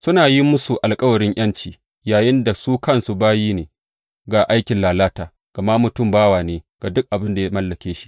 Suna yin musu alkawarin ’yanci, yayinda su kansu bayi ne ga aikin lalata gama mutum bawa ne ga duk abin da ya mallake shi.